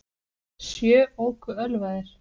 Sjö óku ölvaðir